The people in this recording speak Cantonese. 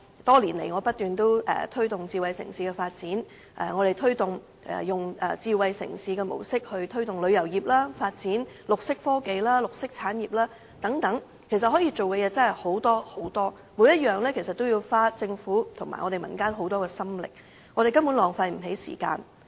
多年來，我不斷推動智慧城市的發展，並以智慧城市的模式來推動旅遊業，發展綠色科技、綠色產業等，可以做的事情真的很多，每項都要花政府及民間很多心力，我們根本浪費不起時間。